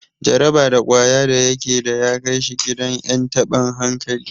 Jaraba da kwaya da yake da ya kai shi gidan en taban hankali.